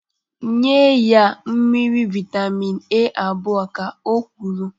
Nye ya mmiri vitamin A abụọ ka o kwuru.